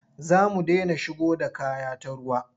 Za mu dena shigo da kaya ta ruwa.